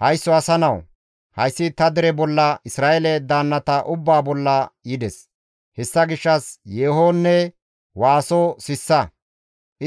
Haysso asa nawu! Hayssi ta dere bolla Isra7eele daannata ubbaa bolla yides; hessa gishshas yeehonne waaso sissa;